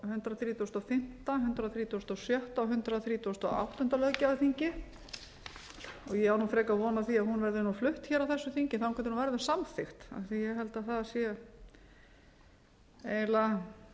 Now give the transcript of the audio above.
hundrað þrítugasta og fimmta hundrað þrítugasta og sjötta og hundrað þrítugasta og áttunda löggjafarþingi og ég á frekar von á því að hún verði flutt á þessu þingi þangað til hún verður samþykkt af því að ég held að það sé eiginlega